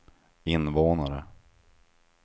invånare